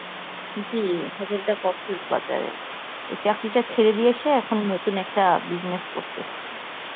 জী, hotel টা কক্সেস বাজারে. ওই চাকরিটা ছেড়ে দিয়ে এসে এখন নতুন একটা business করতেসে.